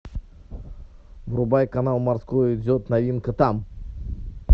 врубай канал морской идет новинка там